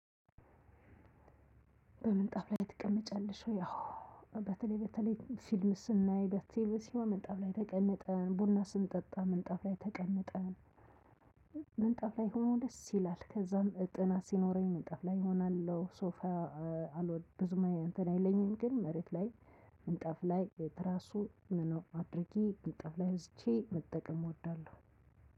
በምንጣፍ ላይ ትቀመጫለሽ ወይ? አዎ በተለይ በተለይ ፊልም ስናይ በቲቪ ሲሆን ምንጣፍ ላይ ተቀምጠን ቡና ስንጠጣ ምንጣፍ ላይ ተቀምጠን። ምንጣፍ ላይ ሆኖ ደስ ይላል ከዚያም ጥና ሲለኝ። ሶፋ አልወድም ብዙም እንትን አይለኝም ግን መሬት ላይ ምንጣፍ ላይ ትራሱን አድርጌ። መጠቀም እወዳለሁ።